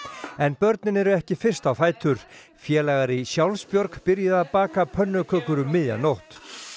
en börnin eru ekki fyrst á fætur félagar í Sjálfsbjörg byrjuðu að baka pönnukökur um miðja nótt